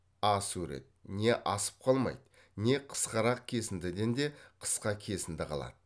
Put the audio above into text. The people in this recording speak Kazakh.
а сурет не асып қалмайды не қысқарақ кесіндіден де қысқа кесінді қалады